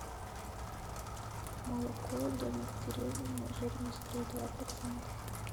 молоко домик в деревне жирность три и два процента